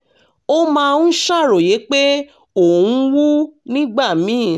ó máa ń ṣàròyé pé ó ń wú nígbà míì